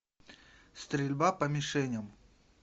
стрельба по мишеням